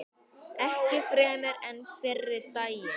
Ekki fremur en fyrri daginn.